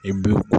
I bɛ